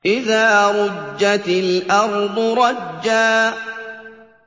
إِذَا رُجَّتِ الْأَرْضُ رَجًّا